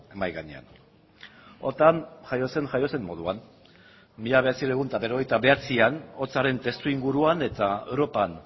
mahai gainean otan jaio zen jaio zen moduan mila bederatziehun eta berrogeita bederatzian hotzaren testu inguruan eta europan